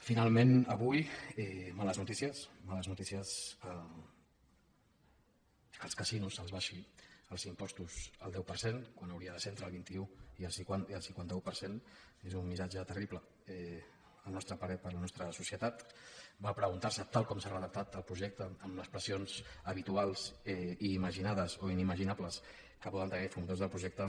finalment avui males notícies que als casinos se’ls abaixin els impostos al deu per cent quan hauria de ser entre el vint un i el cinquanta un per cent és un missatge terrible al nostre parer per a la nostra societat per preguntar se tal com s’ha redactat el projecte amb les pressions habituals i imaginades o inimaginables que poden tenir els promotors del projecte